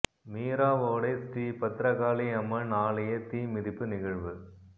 மீராவோடை ஸ்ரீ பத்திரகாளி அம்மன் ஆலய தீ மிதிப்பு நிகழ்வு